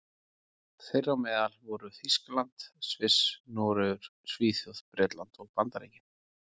Þeirra á meðal voru Þýskaland, Sviss, Noregur, Svíþjóð, Bretland og Bandaríkin.